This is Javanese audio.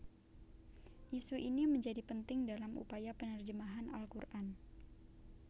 Isu ini menjadi penting dalam upaya penerjemahan Al Qur an